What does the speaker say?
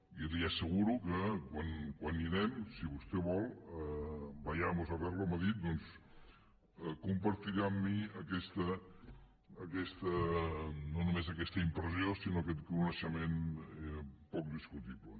i li asseguro que quan hi anem si vostè vol vayamos a verlo m’ha dit doncs compartirà amb mi no només aquesta impressió sinó aquest coneixement poc discutible